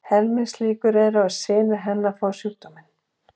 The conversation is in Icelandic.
Helmingslíkur eru á að synir hennar fái sjúkdóminn.